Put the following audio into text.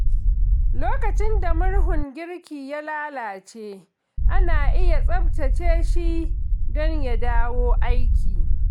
Lokacin da murhun girki ya lalace, ana iya tsaftace shi don ya dawo aiki.